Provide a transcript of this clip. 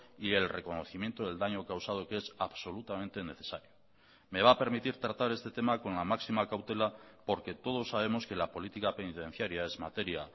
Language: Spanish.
y el reconocimiento del daño causado que es absolutamente necesario me va a permitir tratar este tema con la máxima cautela porque todos sabemos que la política penitenciaria es materia